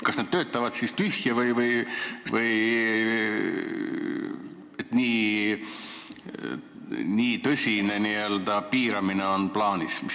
Kas nad töötavad siis tühja või, et nii tõsine piiramine on plaanis?